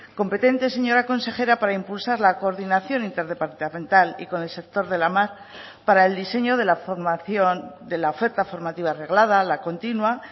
competentes señora consejera para impulsar la coordinación interdepartamental y con el sector de la mar para el diseño de la formación de la oferta formativa reglada la continua